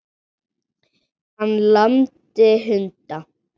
Hann lamdi hunda